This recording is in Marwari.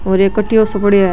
और एक कटियो सो पडियों है।